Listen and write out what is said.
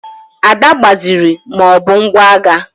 Ada agbaziri ma ọ bụ ngwa agha.